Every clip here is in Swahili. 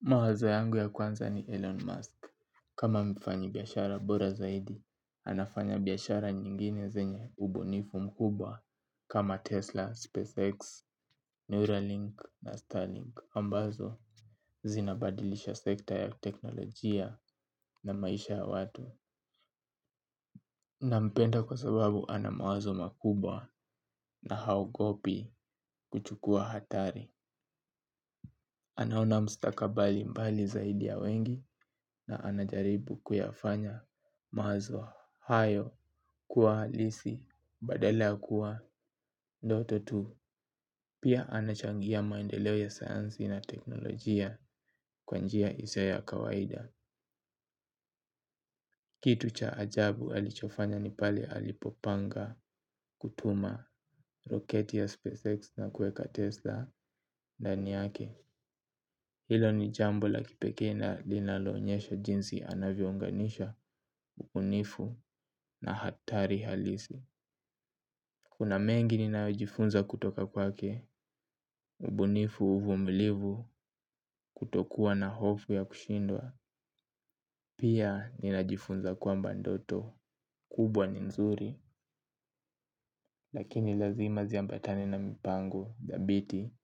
Mawazo yangu ya kwanza ni Elon Musk. Kama mfanyi biashara bora zaidi, anafanya biashara nyingine zenye ubunifu mkubwa kama Tesla, SpaceX, Neuralink na Starlink ambazo zinabadilisha sekta ya teknolojia na maisha ya watu. Nampenda kwa sababu ana mawazo makubwa na haogopi kuchukua hatari. Anaona mstakabali mbali zaidi ya wengi na anajaribu kuyafanya mawazo hayo kuwa halisi badala ya kuwa ndoto tu. Pia anachangia maendeleo ya sayansi na teknolojia kwa njia isio ya kawaida. Kitu cha ajabu alichofanya nipale alipopanga kutuma roketi ya SpaceX na kueka Tesla ndani yake. Hilo ni jambo la kipekee na linalo onyesha jinsi anavyo unganisha, ubunifu na hatari halisi. Kuna mengi ninayo jifunza kutoka kwake, ubunifu uvumilivu kutokuwa na hofu ya kushindwa. Pia ninajifunza kwamba ndoto, kubwa ni mzuri, lakini lazima ziambatane na mipango, dhabiti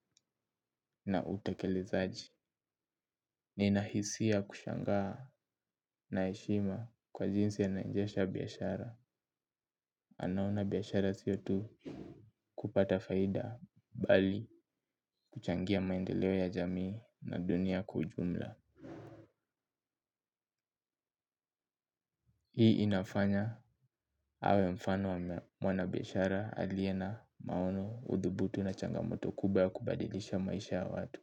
na utekelezaji. Nina hisia kushangaa naheshimu kwa jinsi anaendesha biashara. Anaona biashara sio tu kupata faida bali kuchangia maendeleo ya jamii na dunia kwa ujumla. Hii inafanya awe mfano wa mwana biashara alie na maono udhubutu na changamoto kubwa ya kubadilisha maisha ya watu.